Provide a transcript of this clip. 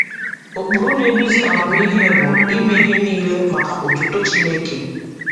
Ụkpụrụ na-eduzi amamihe bụ “ime ihe niile maka otuto Chineke.”